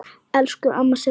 Elsku amma Sigrún.